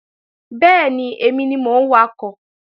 Bẹ́ẹ̀ni, èmi ni mò ń wakọ̀